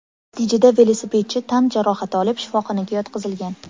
Natijada velosipedchi tan jarohati olib shifoxonaga yotqizilgan.